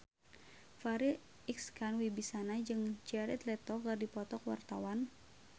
Farri Icksan Wibisana jeung Jared Leto keur dipoto ku wartawan